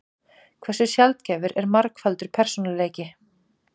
Hversu sjaldgæfur er margfaldur persónuleiki?